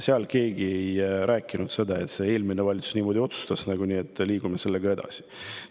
Keegi ei rääkinud, et eelmine valitsus otsustas niimoodi ja liigume sellega edasi.